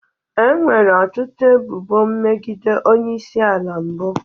Enwere ọtụtụ ebubo megide onye isi ala mbụ